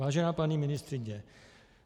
Vážená paní ministryně.